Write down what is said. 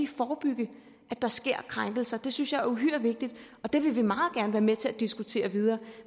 forebygge at der sker krænkelser det synes jeg er uhyre vigtigt og det vil vi meget gerne være med til at diskutere videre